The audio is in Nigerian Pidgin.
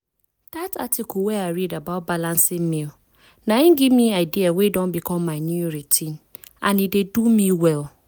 that article wey i read about balancing meals na im give me idea wey don become my new routine and e dey do me well.